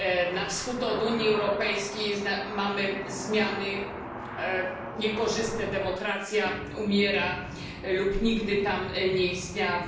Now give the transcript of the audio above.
Na wschód od Unii Europejskiej mamy zmiany niekorzystne, demokracja umiera lub nigdy tam nie istniała.